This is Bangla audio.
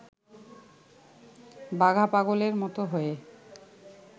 বাঘা পাগলের মত হয়ে